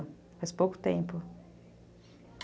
Faz pouco tempo.